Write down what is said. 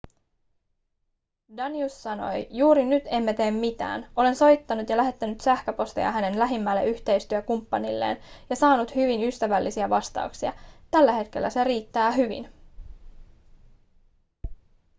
danius sanoi juuri nyt emme tee mitään olen soittanut ja lähettänyt sähköposteja hänen lähimmälle yhteistyökumppanilleen ja saanut hyvin ystävällisiä vastauksia tällä hetkellä se riittää hyvin